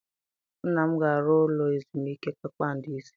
Nna m ga-arụ ụlọ ezumike kpakpando ise.